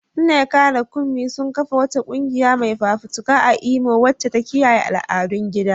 Nneka da Kunmi sun kafa wata kungiya mai fafutuka a Imo wacce ta kiyaye al'adun gida.